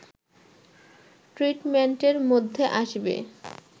ট্রিটমেন্টের মধ্যে আসবে